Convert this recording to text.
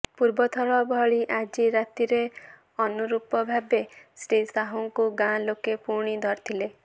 ପୂର୍ବଥର ଭଳି ଆଜି ରାତିରେ ଅନୁରୂପ ଭାବେ ଶ୍ରୀ ସାହୁଙ୍କୁ ଗାଁ ଲୋକେ ପୁଣି ଧରିଥିଲେ